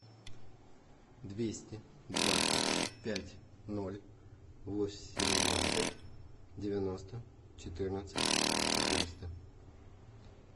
двести двадцать пять ноль восемнадцать девяносто четырнадцать четыреста